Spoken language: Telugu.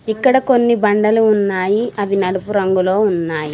ఇక్కడ కొన్ని బండలు ఉన్నాయి అవి నలుపు రంగులో ఉన్నాయి.